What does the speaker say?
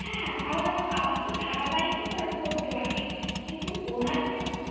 হ্যাঁ, আবার~ আবার তো ধারাবাহিক ও করে~ করতো আগে। কিন্তু ওনার যে,